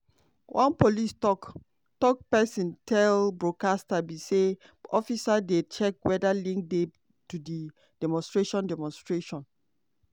one police tok-tok pesin tell broadcaster br say officers dey check weda link dey to di demonstration. demonstration.